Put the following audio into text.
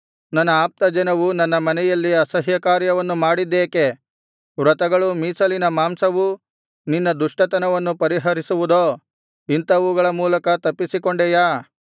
ನನ್ನ ಆಪ್ತಜನವು ನನ್ನ ಮನೆಯಲ್ಲಿ ಅಸಹ್ಯ ಕಾರ್ಯವನ್ನು ಮಾಡಿದ್ದೇಕೆ ವ್ರತಗಳೂ ಮೀಸಲಿನ ಮಾಂಸವೂ ನಿನ್ನ ದುಷ್ಟತನವನ್ನು ಪರಿಹರಿಸುವುದೋ ಇಂಥವುಗಳ ಮೂಲಕ ತಪ್ಪಿಸಿಕೊಂಡೆಯಾ